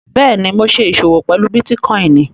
Bẹ́ẹ̀ni, ḿó ṣè iṣọwọ̀ pẹ̀lú Bitikòinì.